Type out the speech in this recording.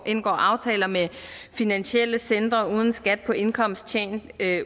indgår aftaler med finansielle centre uden skat på indkomst tjent